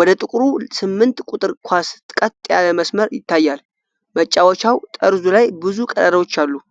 ወደ ጥቁሩ ስምንት ቁጥር ኳስ ቀጥ ያለ መስመር ይታያል። መጫወቻው ጠርዙ ላይ ብዙ ቀዳዳዎች አሉት።